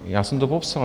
Já jsem to popsal.